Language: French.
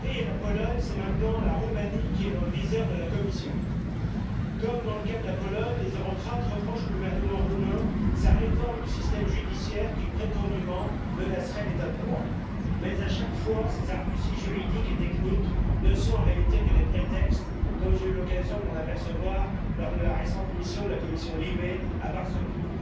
Monsieur le Président, après la Hongrie et la Pologne, c'est maintenant la Roumanie qui est dans le viseur de la Commission. Comme dans le cas de la Pologne, les eurocrates reprochent au gouvernement roumain sa réforme du système judiciaire qui, prétendument, menacerait l'État de droit mais, à chaque fois, ces arguties juridiques et techniques ne sont en réalité que des prétextes, comme j'ai eu l'occasion de m'en apercevoir lors de la récente mission de la commission LIBE à Varsovie.